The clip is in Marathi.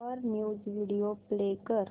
वर न्यूज व्हिडिओ प्ले कर